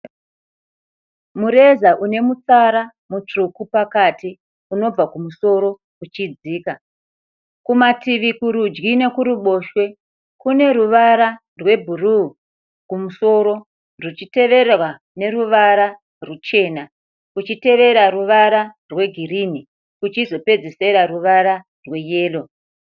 Mureza une mutsara mutsvuku pakati unobva kumusoro uchidzika. Kumativi kurudyi nekuruboshwe kune ruvara rwebhuru kumusoro ruchitevererwa neruvara ruchena kuchitevera ruvara rwegirinhi kuchizopedzisira ruvara rweyero.